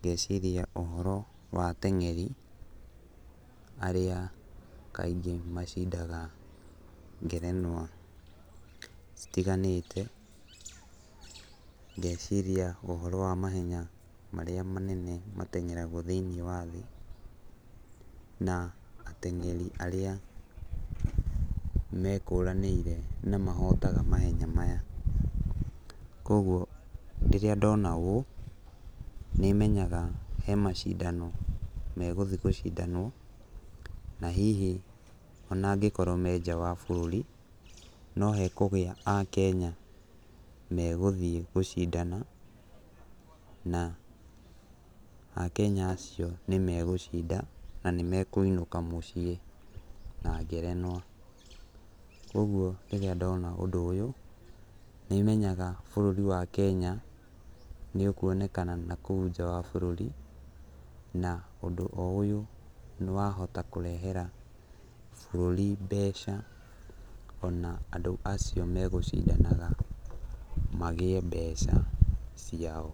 ngeciria ũhoro watengeri, arĩa kaingĩ macindaga ngerenwa citiganĩte, ngeciria ũhoro wa mahenya marĩa manene matengeragwo thĩinĩ wa thĩ, na atengeri arĩa mekũranĩire, na mahotaga mahenya maya, kwoguo rĩrĩa ndona ũũ, nĩ menyaga hemacindano megũthi gũcindanwo, na hihi ona ngĩkorwo menja wa bũrũri, no hekũgĩa a Kenya megũthiĩ gũcindana, na a Kenya acio nĩ megũcinda, na nĩ mekwĩnũka mũciĩ na ngerenwa, kwoguo rĩrĩa ndona ũndũ ũyũ, nĩ menyaga bũrũri wa Kenya nĩ ũkwonekana na kũu nja wa bũrũri, na ũndũ o ũyũ wahota kũrehera bũrũri mbeca, ona andũ acio megũcindanaga magĩe mbeca ciao.